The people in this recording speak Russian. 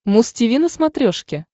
муз тиви на смотрешке